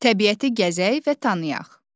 Təbiəti gəzək və tanıyaq.